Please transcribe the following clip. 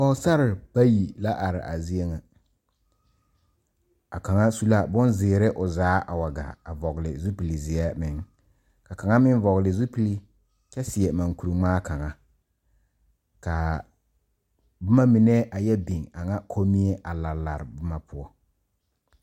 Pɔɔsarre bayi la are a zie ŋa a kaŋa su la bon zeere o zaa a wa gaa a vɔgle zupil zeɛ meŋ ka kaŋa meŋ vɔgle zupil kyɛ seɛ mankure ngmaa kaŋa kaa bomma mine a yɛ biŋ biŋ a ŋa kommie a lare bomma poɔ.